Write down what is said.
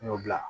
N y'o bila